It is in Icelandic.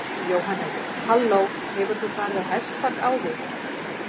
Jóhannes: Halló, hefur þú farið á hestbak áður?